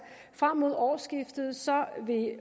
frem mod årsskiftet